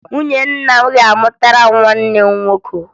Nwunye nna m ga-amụtara m nwanne nwoke